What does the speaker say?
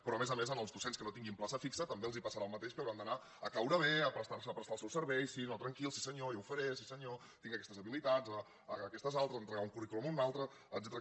però a més a més als docents que no tinguin plaça fixa també els passarà el mateix que hauran d’anar a caure bé a prestar els seus serveis sí no tranquil sí senyor jo ho faré sí senyor tinc aquestes habilitats aquestes altres a entregar un currículum o un altre etcètera